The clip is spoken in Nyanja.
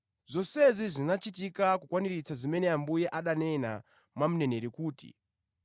Zonsezi zinachitika kukwaniritsa zimene Ambuye ananena mwa mneneri kuti,